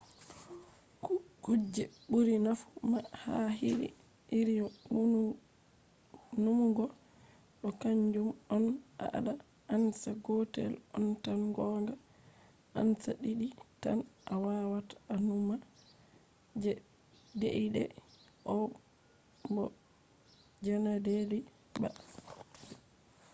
kuje ɓuri nafu ha iri numugo ɗo kanjum on: a anda ansa gotel on tan gonga. ansa ɗiɗi tan a wawata a numa je deidei on bo je na deidei ba